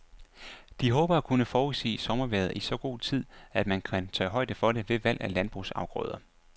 De håber at kunne forudsige sommervejret i så god tid, at man kan tage højde for det ved valg af landbrugsafgrøder.